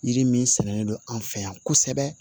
Yiri min sɛnɛnen don an fɛ yan kosɛbɛ